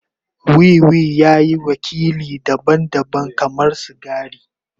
Wiwi ya yi wakili daban-daban kamar sigari.